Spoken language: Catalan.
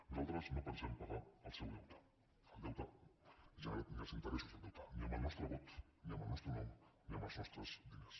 nosaltres no pensem pagar el seu deute el deute generat ni els interessos del deute ni amb el nostre vot ni amb el nostre nom ni amb els nostres diners